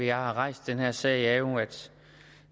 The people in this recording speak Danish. jeg har rejst den her sag er jo at